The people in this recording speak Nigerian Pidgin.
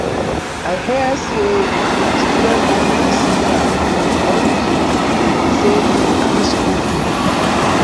i hear say students burn vc car unto say he increase school fees